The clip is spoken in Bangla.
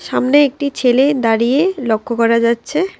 সামনে একটি ছেলে দাঁড়িয়ে লক্ষ করা যাচ্ছে।